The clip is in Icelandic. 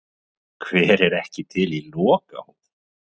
Hver er ekki til í lokahóf?